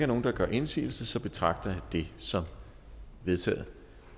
nogen der gør indsigelse så betragter jeg det som vedtaget